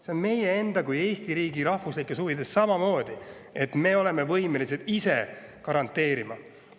See on meie enda, Eesti riigi rahvuslikes huvides samamoodi, et me oleksime võimelised ise seda garanteerima.